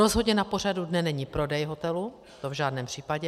Rozhodně na pořadu dne není prodej hotelu, to v žádném případě.